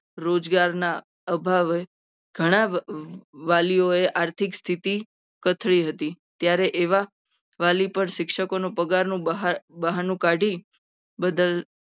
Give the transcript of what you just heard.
રોજગારના પ્રભાવને ગણાવજો. એ આર્થિક સ્થિતિ કથળી હતી. ત્યારે એવા વાલીઓનો પગારનું બહાનું કાઢી.